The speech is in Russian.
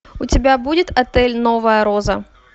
у тебя будет отель новая роза